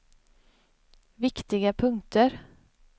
viktiga punkter